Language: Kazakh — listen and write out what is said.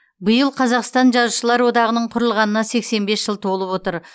биыл қазақстан жазушылар одағының құрылғанына сексен бес жыл толып отыр